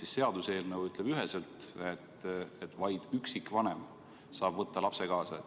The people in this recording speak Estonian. Ehk seaduseelnõu ütleb üheselt, et vaid üksikvanem saab võtta lapse kaasa.